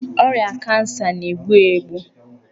Ọrịa kansa na-egbu egbu.